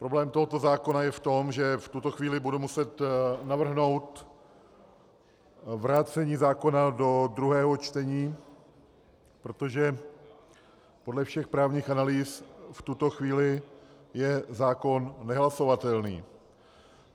Problém tohoto zákona je v tom, že v tuto chvíli budu muset navrhnout vrácení zákona do druhého čtení, protože podle všech právních analýz v tuto chvíli je zákon nehlasovatelný.